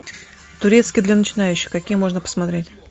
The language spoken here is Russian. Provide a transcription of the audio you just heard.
турецкий для начинающих какие можно посмотреть